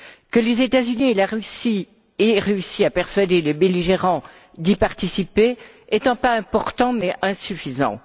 Que les États Unis et la Russie aient réussi à persuader les belligérants d'y participer est un pas important mais insuffisant.